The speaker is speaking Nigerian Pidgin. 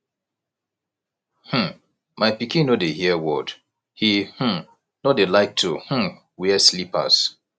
um my pikin no dey hear word he um no dey like to um wear slippers